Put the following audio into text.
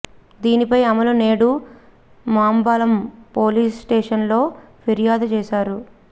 దీనిపై అమల నేడు Mambalam police station లో ఫిర్యాదు చేశారు